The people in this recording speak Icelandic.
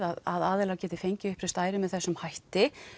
að aðilar geti fengið uppreist æru með þessum hætti